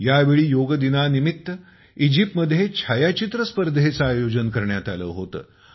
यावेळी योग दिनानिमित्त इजिप्तमध्ये छायाचित्र स्पर्धेचे आयोजन करण्यात आले होते